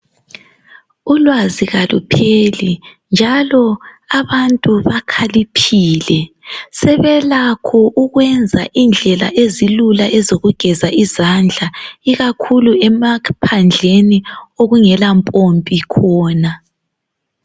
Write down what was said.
Ulwazi kalupheli njalo abantu bakhaliphile sebelakho ukwenza indlela ezilula ezokugeza izandla ikakhulu emaphandleni okungela mpompi khona.